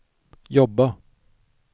jobba